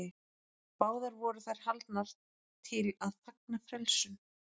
Báðar voru þær haldnar til að fagna frelsun.